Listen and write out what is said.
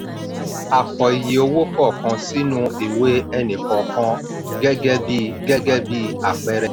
a kọ iye owó kọọkan sínú ìwé ẹni-kọọkan gẹ́gẹ́ bí gẹ́gẹ́ bí àpẹẹrẹ.